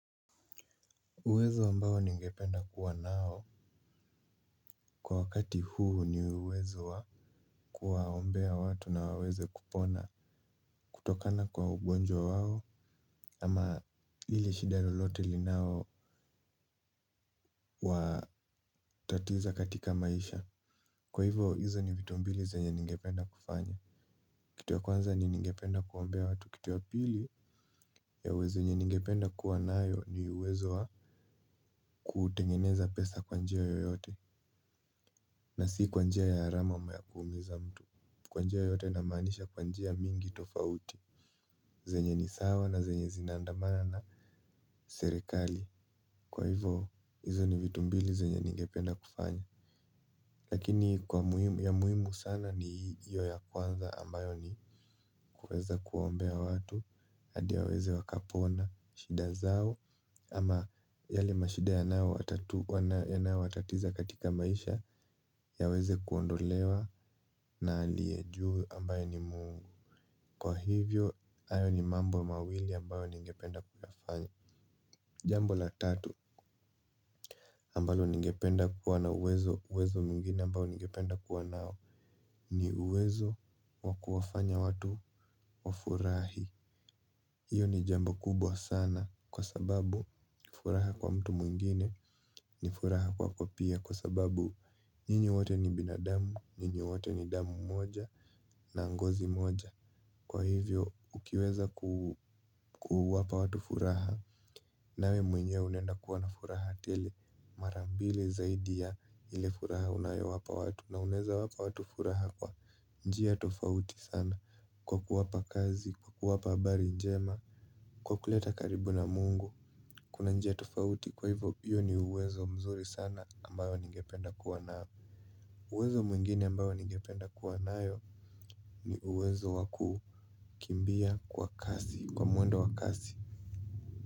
Uwezo ambao ningependa kuwa nao. Kwa wakati huu ni uwezo wa kuwaombea watu na waweze kupona kutokana kwa ugonjwa wao. Ama hili shida lolote linao watatiza katika maisha. Kwa hivo hizo ni vitumbili zenye ningependa kufanya. Kitu ya kwanza ni ningependa kuombea watu. Kitu ya pili ya uwezo ningependa kuwa nayo ni uwezo wa kutengeneza pesa kwa njia yoyote. Na si kwa njia ya haramu ama yakuumiza mtu. Kwa njia yoyote na maanisha kwanjia mingi tofauti. Zenye ni sawa na zenye zinaandamana na serikali. Kwa hivo kitu ya kwanza ni ningependa kuombea watu. Kitu ya pili ya uwezo ningependa kuwa nayo ni uwezo wa kutengeneza pesa kwanjia yoyote. Lakini ya muhimu sana ni hiyo ya kwanza ambayo ni kuweza kuombea watu hadi waweze wakapona shida zao. Ama yale mashida yanao watatiza katika maisha yaweze kuondolewa na alie juu ambaye ni Mungu. Kwa hivyo hayo ni mambo mawili ambayo ningependa kuyafanya. Jambo la tatu ambalo ningependa kuwa na uwezo mwingine ambayo ningependa kuwa nao. Ni uwezo wakuwafanya watu wafurahi. Iyo ni jambo kubwa sana. Kwa sababu nifuraha kwa mtu mwingine. Nifuraha kwako pia. Kwa sababu nyinyi wote ni binadamu. Nyinyi wote ni damu moja na ngozi moja. Kwa hivyo ukiweza kuwapa watu furaha nawe mwenye unaenda kuwa na furaha tele mara mbili zaidi ya ile furaha unayowapa watu na unaeza wapa watu furaha kwa njia tofauti sana kwa kuwapa kazi kwa kuwapa habari njema. Kwa kuleta karibu na mungu kuna njia tofauti kwa hivyo hio uwezo mzuri sana ambayo ningependa kuwa nao. Uwezo mwingine ambayo ningependa kuwa nayo ni uwezo wakukimbia kwa kasi kwa mwendo wa kasi.